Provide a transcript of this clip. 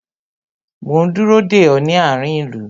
Mo ń dúró de ọ, ní àárín ìlú